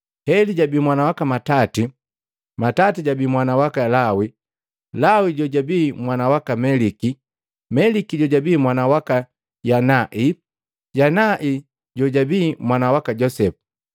Heli jabi mwana waka Matati, Matati jojabi mwana waka Lawi, Lawi jojabii mwana waka Meliki, Meliki jojabii mwana waka Yanai, Yanai jojabii mwana waka Josepu,